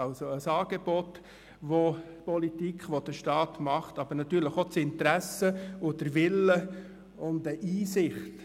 Es braucht ein Angebot, welches die Politik, also der Staat, macht, aber auch das Interesse und den Willen und eine Einsicht.